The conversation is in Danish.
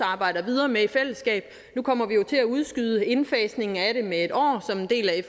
arbejder videre med i fællesskab nu kommer vi jo til at udskyde indfasningen af det med en år som en del af